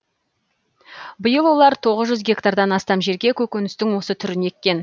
биыл олар тоғыз жүз гектардан астам жерге көкөністің осы түрін еккен